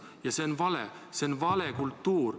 Ja see on vale kultuur.